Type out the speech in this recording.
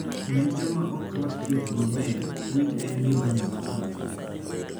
Ne joma ok rwako thieth maber, wig en gima nyalo konyogi.